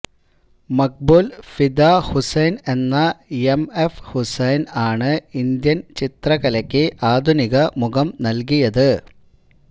മഖ്ബൂല് ഫിദാ ഹുസൈന് എന്ന M F Hussain ആണ് Indian ചിത്രകലയ്ക്ക് ആധുനിക മുഖം നല്കിയത്